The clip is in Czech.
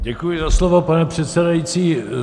Děkuji za slovo, pane předsedající.